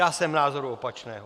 Já jsem názoru opačného.